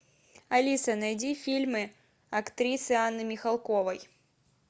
алиса найди фильмы актрисы анны михалковой